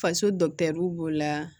Faso b'o la